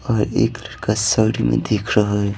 और एक लड़का साड़ी में देख रहा है।